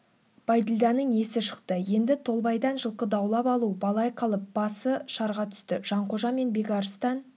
бәйділданың есі шықты енді толбайдан жылқы даулап алу балай қалып басы шарға түсті жанқожа мен бекарыстан